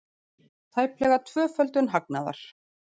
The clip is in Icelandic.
Tæplega tvöföldun hagnaðar